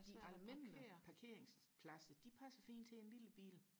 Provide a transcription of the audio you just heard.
de almindelige parkeringspladser de passer fint til en lille bil